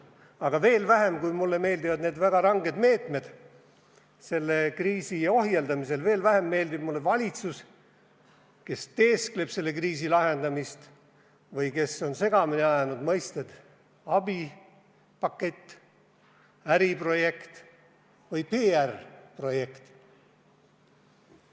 Aga veel vähem, kui mulle meeldivad need väga ranged meetmed selle kriisi ohjeldamisel, meeldib mulle valitsus, kes teeskleb selle kriisi lahendamist ja on segamini ajanud mõisted "abipakett", "äriprojekt" ja "PR-projekt".